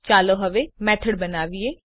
ચાલો હવે મેથડ બનાવીએ